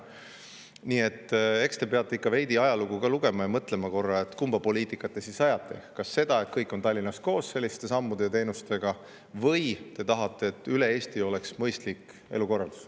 Nii et eks te peate ikka veidi ajalugu lugema ja korra mõtlema, kumba poliitikat te ajate: kas ajate sellist poliitikat, et kõik tulevad selliste sammude ja teenuste tõttu Tallinnasse kokku, või tahate, et üle Eesti oleks mõistlik elukorraldus.